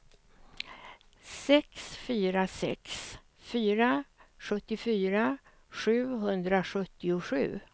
sex fyra sex fyra sjuttiofyra sjuhundrasjuttiosju